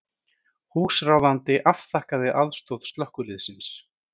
Húsráðandi afþakkaði aðstoð slökkviliðsins